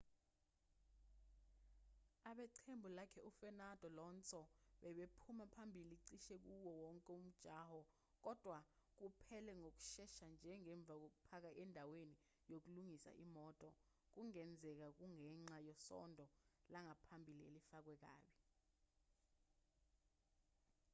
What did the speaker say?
abeqembu lakhe u-fernando alonso bebephuma phambili cishe kuwoo wonke umjaho kodwa kuphele ngokushesha nje ngemva kokupaka endaweni yokulungisa imoto kungenzeka kungenxa yesondo langaphambili elifakwe kabi